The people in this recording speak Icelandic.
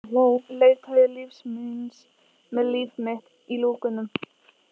Leiðtogi lífs míns með líf mitt í lúkunum.